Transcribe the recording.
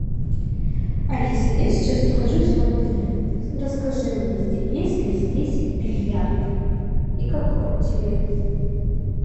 алиса я сейчас нахожусь в отеле расскажи мне есть ли здесь бильярд и как он тебе